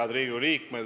Head Riigikogu liikmed!